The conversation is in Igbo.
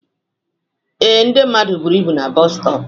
Ee, ndị mmadụ buru ibu na bọọsu stọp